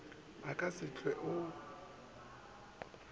a ka se hwe o